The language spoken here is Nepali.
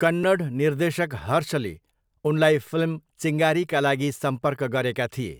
कन्नड निर्देशक हर्षले उनलाई फिल्म चिङ्गारीका लागि सम्पर्क गरेका थिए।